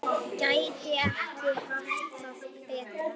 Gæti ekki haft það betra.